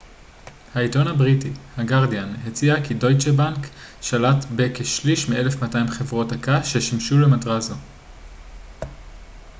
העיתון הבריטי הגרדיאן הציע כי דויטשה בנק שלט בכשליש מ־1200 חברות הקש ששימשו למטרה זו